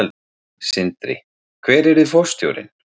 Sindri: Hver yrði forstjórinn?